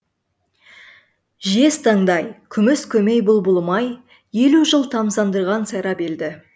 жез таңдай күміс көмей бұлбұлым ай елу жыл тамсандырған сайрап елді